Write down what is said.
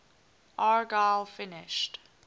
argyle finished